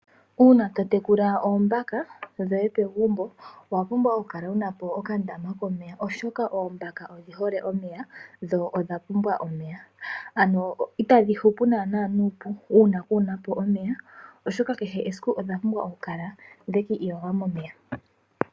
Uuna totekula oombaka dhoye pegumbo owapumbwa okukala wuna po okandama komeya oshoka oombaka odhihole omeya dho odhapumbwa omeya, ano itadhi hupu naana nuupu uuna kunapo omeya, oshoka kehe esiku odhapumbwa okukala dhekiiyoga momeya.